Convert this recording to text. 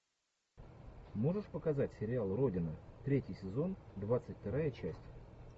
можешь показать сериал родина третий сезон двадцать вторая часть